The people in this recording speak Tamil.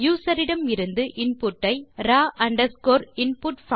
யூசர் இடமிருந்து இன்புட் ஐ ராவ் அண்டர்ஸ்கோர் input ஐ பயன்படுத்தி பெறுதல்